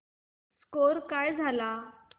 score काय झाला